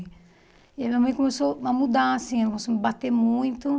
E aí minha mãe começou a mudar, assim, ela começou a me bater muito.